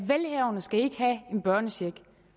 en børnecheck